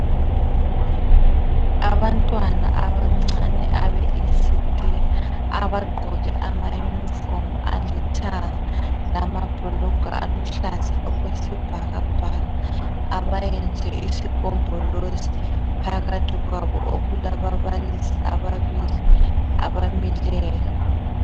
Abantwana abancane abe ECD abagqoke ama uniform alithanga lamabhulugwe aluhlaza okwesibhakabhaka abayenze isigombolozi phakathi kwabo okulababalisi ababili abamileyo